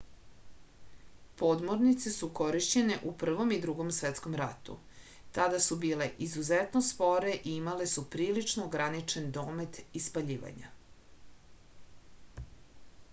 podmornice su korišćene u prvom i drugom svetskom ratu tada su bile izuzetno spore i imale su prilično ograničen domet ispaljivanja